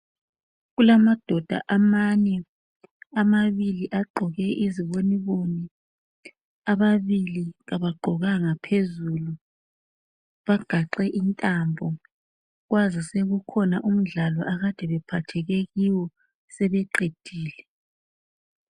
Kulamadoda amane amabili agqoke iziboniboni ababili kabagqokanga phezulu bagaxe intambo kwazi sekukhona umdlalo akade phephatheke kiwo sebewuqedile.